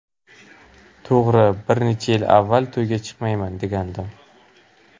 To‘g‘ri, bir necha yil avval: ‘To‘yga chiqmayman’, degandim.